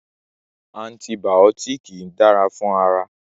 Antibàọ́tìkì dára fún ara.